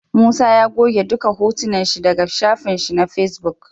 Musa ya goge duka hotunan shi daka shafin shi ma face book